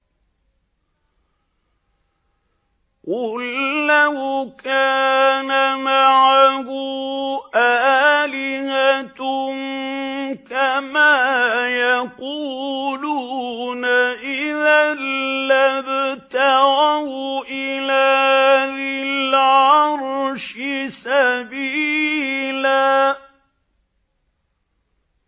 قُل لَّوْ كَانَ مَعَهُ آلِهَةٌ كَمَا يَقُولُونَ إِذًا لَّابْتَغَوْا إِلَىٰ ذِي الْعَرْشِ سَبِيلًا